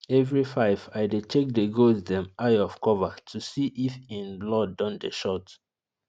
every five i dey check the goats dem eye of cover to see if en blood don dey short